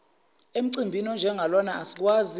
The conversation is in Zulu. emcimbini onjengalona asikwazi